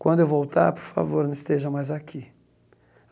Quando eu voltar, por favor, não esteja mais aqui.